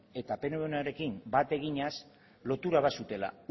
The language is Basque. eta pnvnarekin bat eginez lotura bat zutela